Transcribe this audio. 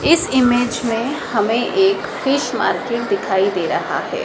इस इमेज में हमें एक फिश मार्केट दिखाई दे रहा है।